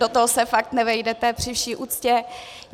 Do toho se fakt nevejdete, při vší úctě.